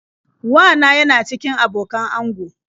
Wa na yana cikin abokan ango.